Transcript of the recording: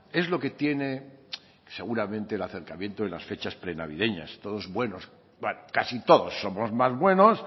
es lo que tiene seguramente el acercamiento de las fechas prenavideñas todos buenos bueno casi todos somos más buenos